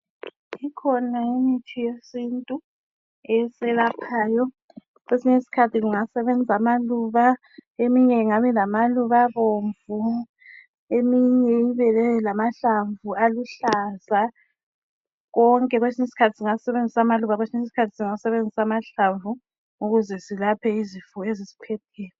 Ikhona imithi yesintu eselaphayo. Kwesinye isikhathi kungasebenza amaluba. Eminye ingabe ilamaluba abomvu. Eminye ibe lamahlamvu aluhlaza .Konke kwesinye isikhathi singasebenzisa amaluba , kwesinye isikhathi amahlamvu ukuze silapheke izifo ezisiphetheyo.